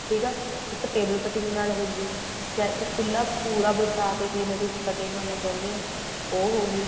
ਠੀਕ ਹੈ ਇੱਕ table cutting ਨਾਲ ਹੋ ਗਈ ਜਾਂ ਇੱਕ ਪੂਰਾ ਖੁੱਲਾ ਵਿਛਾ ਕੇ ਕਿਵੇਂ ਤੁਸੀਂ cutting ਕਰਨਾ ਚਾਹੁੰਦੇ ਓ ਉਹ ਹੋਗੀ